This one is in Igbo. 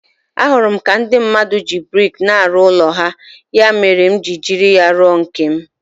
Ahụrụ m ka ndị mmadụ ji brik na-arụ ụlọ ha, ya mere m ji eji ya arụ nke m.